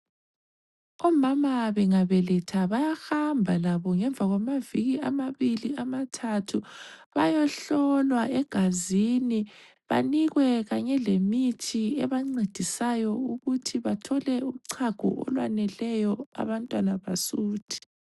Omama bengabeletha bayahamba labo ngemva kwamaviki amabili amathathu bayohlolwa egazini banikwe kanye lemithi ebancedisayo ukuthi bathole uchago olwaneleyo abantwana basuthe.